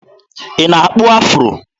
Ị na-akpụ afụro?